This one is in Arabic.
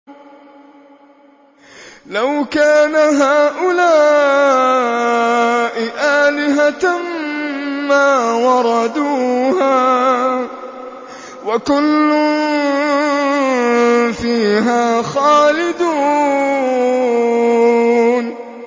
لَوْ كَانَ هَٰؤُلَاءِ آلِهَةً مَّا وَرَدُوهَا ۖ وَكُلٌّ فِيهَا خَالِدُونَ